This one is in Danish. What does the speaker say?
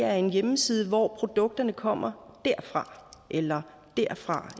er en hjemmeside hvor produkterne kommer derfra eller derfra